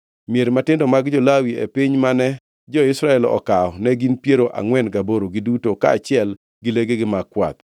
Mier matindo mag jo-Lawi e piny mane jo-Israel okawo ne gin piero angʼwen gaboro giduto, kaachiel gi legegi mag kwath.